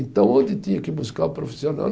Então, onde tinha que buscar o profissional?